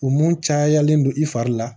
U mun cayalen don i fari la